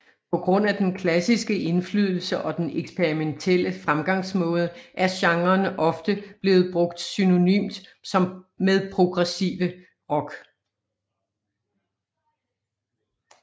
På grund af den klassiske indflydelse og den eksperimentielle fremgangsmåde er genren ofte blevet brugt synonymt med progressive rock